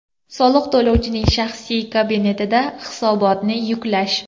Soliq to‘lovchining shaxsiy kabinetida hisobotni yuklash.